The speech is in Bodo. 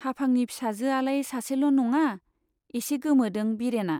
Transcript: हाफांनि फिसाजो आलाय सासेल' नङा ? एसे गोमोदों बिरेना।